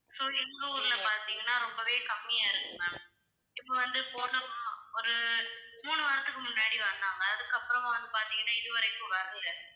so எங்க ஊர்ல பார்த்தீங்கன்னா ரொம்பவே கம்மியா இருக்கு ma'am. இப்ப வந்து போன மா~ ஒரு மூணு வாரத்துக்கு முன்னாடி வந்தாங்க அதுக்கப்புறமா வந்து பார்த்தீங்கன்னா இதுவரைக்கும் வரலை.